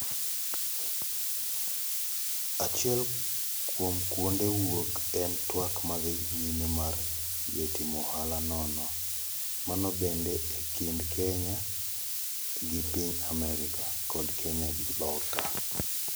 Achiel kuom kuonde wuok en twak madhi nyime mar yie timo ohala nono. Mano bende e kind Kenya gi piny Amerka, kod Kenya gi loka